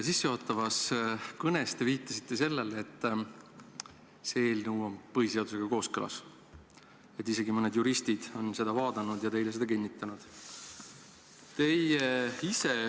Sissejuhatavas kõnes te viitasite sellele, et see eelnõu on põhiseadusega kooskõlas ning et isegi mõned juristid on seda vaadanud ja teile seda kinnitanud.